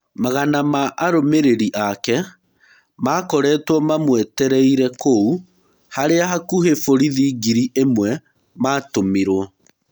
Magana ma arũmĩrĩri ake makoretwo mamwetereire kũu harĩa hakuhĩ borithĩ ngiri ĩmwe matũmirwo.